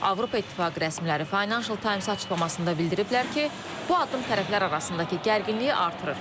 Avropa İttifaqı rəsmiləri Financial Times açıqlamasında bildiriblər ki, bu addım tərəflər arasındakı gərginliyi artırır.